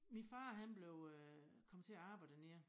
Min far han blev øh kom til at arbejde dernede